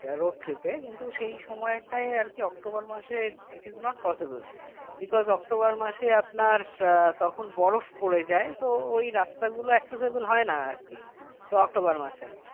road trip এ কিন্তু সেই সময়টায় আর কি অক্টোবর মাসের it is not possible because October মাসে আপনার আহ তখন বরফ পড়ে যায় তো ওই রাস্তাগুলো accessible হয় না আর কি অক্টোবর মাসে